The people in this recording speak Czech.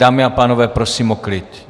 Dámy a pánové, prosím o klid.